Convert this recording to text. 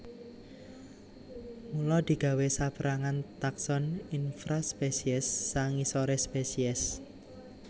Mula digawé sapérangan takson infraspesies sangisoré spesies